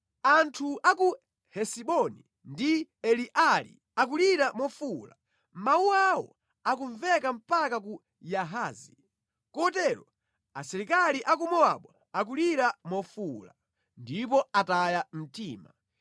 Anthu a ku Hesiboni ndi Eleali akulira mofuwula, mawu awo akumveka mpaka ku Yahazi. Kotero asilikali a ku Mowabu akulira mofuwula, ndipo ataya mtima.